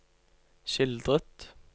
skildret